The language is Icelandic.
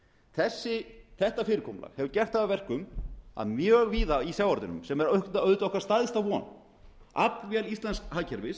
aflaheimildum þetta fyrirkomulag hefur gert það að verkum að mjög víða í sjávarútveginum sem er auðvitað okkar stærsta von aflvél íslensks hagkerfis